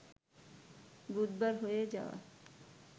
বুধবার হয়ে যাওয়া